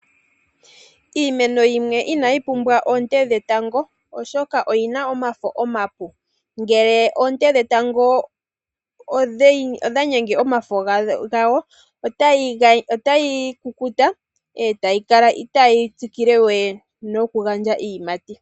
Iimeno yimwe inayi pumbwa oonte dhetango oshoka oyina omafo omapu. Ngele oonte dhetango odha gumu omafo gadho, otayi kukuta etayi kala itaayi tsikile we noku gandja iiyimati.